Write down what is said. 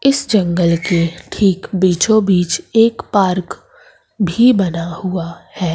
इस जंगल के ठीक बीचो बीच एक पार्क भी बना हुआ है।